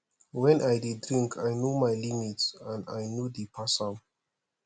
wen i dey drink i no my limit and i no dey pass am